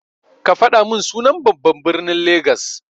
Kafaɗa min sunan babban ɓirnin lagas.